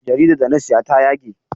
Jaridar da na siya ta yage.